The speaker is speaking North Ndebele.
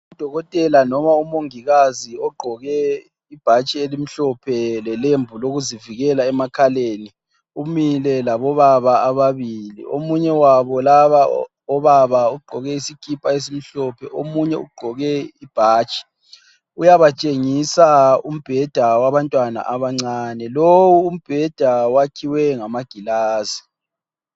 Udokotela noma umongikazi ogqoke ibhatshi elimhlophe lelembu lokuzivikela emakhaleni, umile labo baba ababili omunye wabo labo obaba ugqoke isikipa esimhlophe, omunye ugqoke ibhatshi, uyabatshengisa umbheda wabantwana abancane, lowu umbheda wakhiwe ngamagilazi.